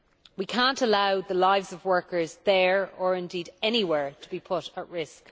We cannot allow the lives of workers there or indeed anywhere to be put at risk.